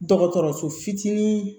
Dɔgɔtɔrɔso fitinin